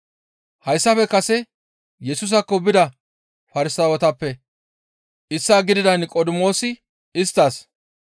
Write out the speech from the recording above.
Hayssafe kase Yesusaakko bida Farsaawetappe issaa gidida Niqodimoosi isttas,